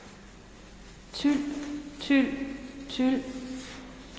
tyl tyl tyl